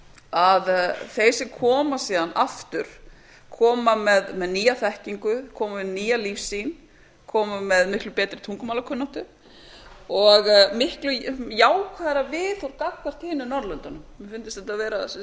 að þeir sem koma síðan aftur koma með nýja þekkingu koma með nýja lífssýn koma með miklu betri tungumálakunnáttu og miklu jákvæðara viðhorf gagnvart hinum norðurlöndunum mér hefur fundist þetta vera